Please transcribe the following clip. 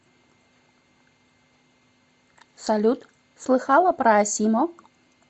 салют слыхала про асимо